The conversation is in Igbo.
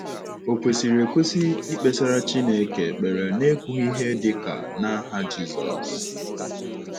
Ò kwesịrị ekwesị ikpesara Chineke ekpere n’ekwughị ihe dị ka “ n’aha Jizọs ”?